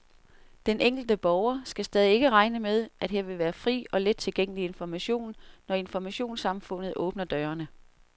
Den enkelte borger skal stadig ikke regne med, at her vil være fri og let tilgængelig information, når informationssamfundet åbner dørene.